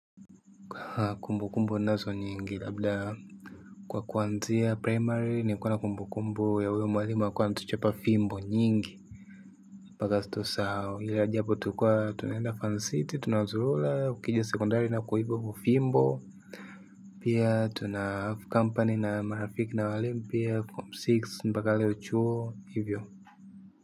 Kwa kumbukumbu ninazo nyingi labda. Kwa kuanzia primary nilikuwanna kumbu kumbu ya huyo mwalimu alikuwa anatuchapa fimbo nyingi. Mpaka tusahau ila ajabu tulikua tunaenda fan city tunazurula ukija sekondari na kuiba kwa fimbo. Pia tuna have company na marafiki na walimu pia form six mpaka leo chuo hivyo.